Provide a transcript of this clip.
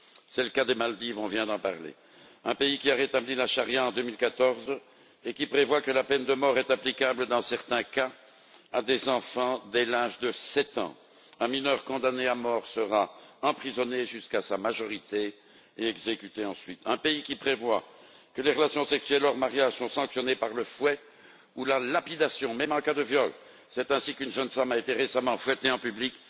C'est le cas des Maldives on vient d'en parler un pays qui a rétabli la charia en 2014 et qui prévoit que la peine de mort est applicable dans certains cas à des enfants dès l'âge de 7 ans un mineur condamné à mort sera emprisonné jusqu'à sa majorité et exécuté ensuite un pays qui prévoit que les relations sexuelles hors mariage sont sanctionnées par le fouet ou la lapidation, même en cas de viol c'est ainsi qu'une jeune femme a été récemment fouettée en public